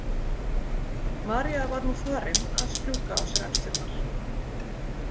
María var nú farin að strjúka á sér axlirnar.